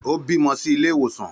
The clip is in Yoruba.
Ó bímọ sí ilé ìwòsàn